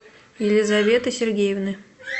елизаветы сергеевны